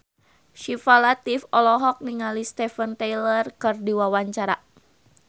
Syifa Latief olohok ningali Steven Tyler keur diwawancara